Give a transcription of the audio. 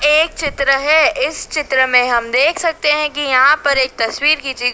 एक चित्र है इस चित्र में हम देख सकते हैं कि यहां पर एक तस्वीर खींची--